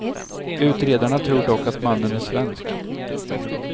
Utredarna tror dock att mannen är svensk.